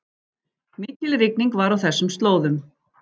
Mikil rigning var á þessum slóðum